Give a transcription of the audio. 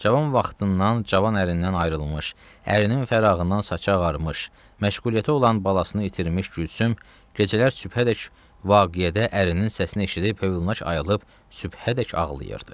Cavan vaxtından, cavan ərindən ayrılmış, ərinin fərağından saçı ağarmış, məşğuliyyəti olan balasını itirmiş Gülsüm gecələr sübhədək vaqiyədə ərinin səsini eşidib, huşu ayılıb sübhədək ağlayırdı.